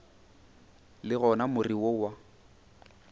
le gona more wo wa